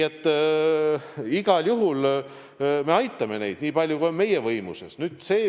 Igal juhul me aitame neid, nii palju kui on meie võimuses.